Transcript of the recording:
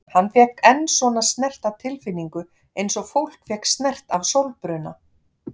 Hann fékk enn svona snert af tilfinningu eins og fólk fékk snert af sólbruna.